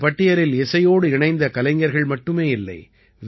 இந்தப் பட்டியலில் இசையோடு இணைந்த கலைஞர்கள் மட்டுமே இல்லை